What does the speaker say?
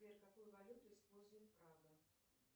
сбер какую валюту использует прага